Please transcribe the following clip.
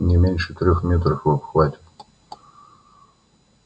не меньше трёх метров в обхвате